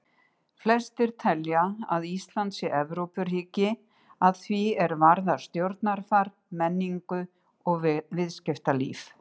Flestir telja að Ísland sé Evrópuríki að því er varðar stjórnarfar, menningu og viðskiptalíf.